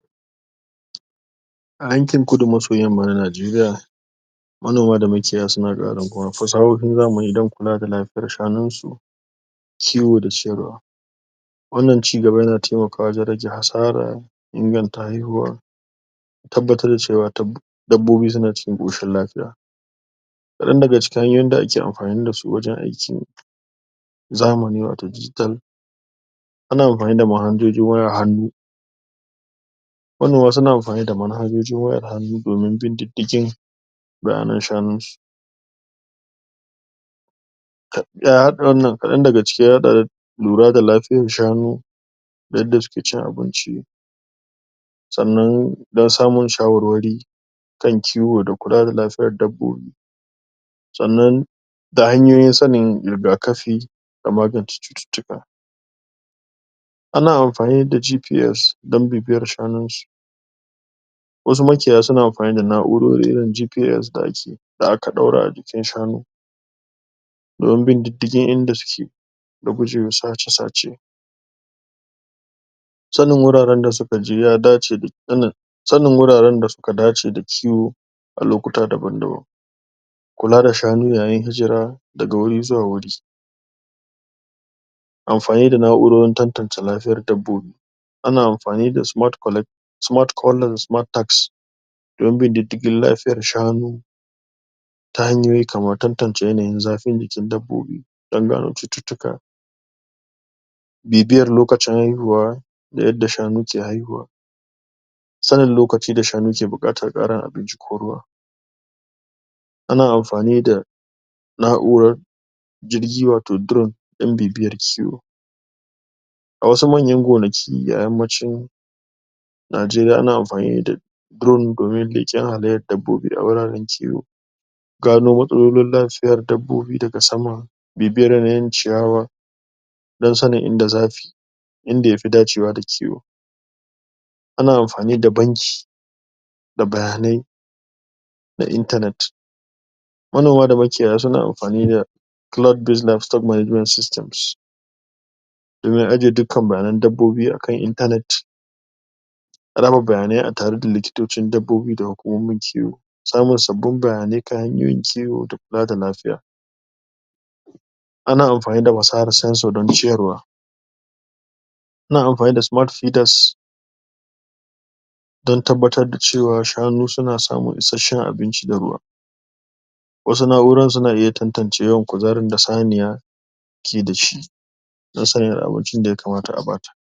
a yankin kudu maso yamma na nageria manoma da makiyaya suna ƙarin fasahohin zamani dan kula da lafiyar shanunsu kiwo da siyarwa wannan cigaba yana taimakawa wajan rage hasara inganta haihuwa tabbatar da cewa dabbobi suna cikin koshin lafiya ka ɗan daga cikin hanyoyin da ake amfani dasu wajan aikin zamani wato digital ana amfani da manhajojin wayar hannu manoma suna amfani da manhajojin wayar hannu domin bin diddigin bayanan shanunsu ya haɗa wannan kaɗan daga ciki ya haɗa lura da lafiyar shanu da yanda suke cin abinci sannan dan samun shawarwari kan kiwo da kula da lafiyar dabbobi sannan da hanyoyin sanin riga kafi da magance cututtuka ana amfani da GPS dan bibiyar shanunsu wasu makiyaya suna amfani da na'urori irin GPS da ake da aka ɗaura a jikin shanu domin bin diddigin inda suke da gujewa sace sace sanin wuraran da suka je ya dace da sanin wuraran da suka dace da kiwo a lokuta daban daban kula da shanu yayin hijira daga wuri zuwa wuri amfani da na'urorin tattance lafiyar dabbobi ana amfani da smart calls da smart tasks yanda diddigin lafiyar shanu ta hanyoyi kamar tantance yanayin zafin jikin dabbobi dan gano cututtuka bibiyar lokacin haihuwa da yadda shanu ke haihuwa sanin lokaci da shanu ke buƙatar ƙarin abinci ko ruwa ana amfani da na'urar jirgi wato drum dan bibiyar kiwo a wasu manyan gonaki a yammacin nageriya ana amfani da drum domin leƙen halayyar dabbobi a wuraran kiwo gano matsalolin lafiyar dabbobi daga sama bibiyar yanayin ciyawa dan sanin inda zafi inda yafi dacewa da kiwo ana amfani da banki da bayanai na internet manoma da makiyaya suna amfani da domin ajje dukan bayanan dabbobi akan internet raba bayanai a tare da likitocin dabbobi da hukumomin kiwo samun sabbin bayanai ta hanyoyin kiwo da kula da lafiya ana amfani da fasahar sensor da na ciyarwa ana amfani da smart pidars dan tabbatar da cewa shanu suna samun ishasshan abinci da ruwa wasu na'uran suna iya tattance yawan kuzarin da saniya ke dashi nasanin abincin da ya kamata a bata